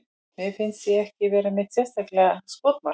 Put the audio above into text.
Mér finnst ég ekki vera neitt sérstakt skotmark.